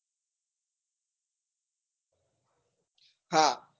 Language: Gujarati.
હા